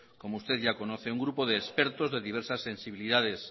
como usted ya conoce un grupo de expertos de diversas sensibilidades